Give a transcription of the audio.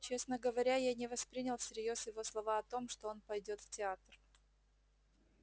честно говоря я не воспринял всерьёз его слова о том что он пойдёт в театр